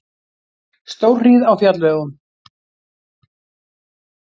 Stórhríð á fjallvegum